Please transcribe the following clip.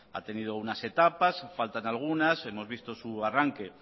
ha tenido unas etapas faltan algunas hemos visto su arranque